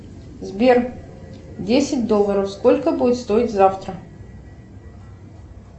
сбер десять долларов сколько будет стоить завтра